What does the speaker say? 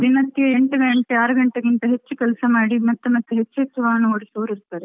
ದಿನಕ್ಕೆ ಎಂಟು ಗಂಟೆ, ಆರು ಗಂಟೆಗಿಂತ ಹೆಚ್ಚು ಕೆಲಸ ಮಾಡಿ ಮತ್ತೆ ಹೆಚ್ಚು ಹೆಚ್ಚು ವಾಹನ ಓಡಿಸುವವ್ರು ಇರ್ತರೆ.